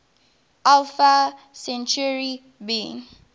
alpha centauri b